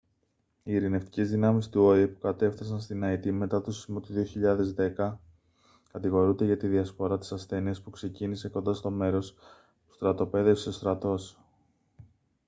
οι ειρηνευτικές δυνάμεις του οηε που κατέφθασαν στην αϊτή μετά τον σεισμό του 2010 κατηγορούνται για τη διασπορά της ασθένειας που ξεκίνησε κοντά στο μέρος που στρατοπέδευσε ο στρατός